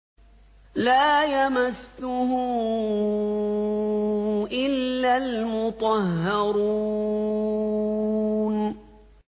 لَّا يَمَسُّهُ إِلَّا الْمُطَهَّرُونَ